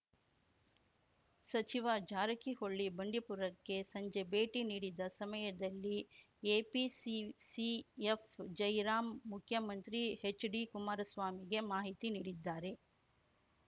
ಸಚಿವ ಜಾರಕಿಹೊಳಿ ಬಂಡೀಪುರಕ್ಕೆ ಸಂಜೆ ಭೇಟಿ ನೀಡಿದ ಸಮಯದಲ್ಲಿ ಎಪಿಸಿಸಿಎಫ್‌ ಜಯರಾಂ ಮುಖ್ಯಮಂತ್ರಿ ಎಚ್‌ಡಿಕುಮಾರಸ್ವಾಮಿಗೆ ಮಾಹಿತಿ ನೀಡಿದ್ದಾರೆ